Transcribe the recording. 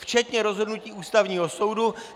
Včetně rozhodnutí Ústavního soudu.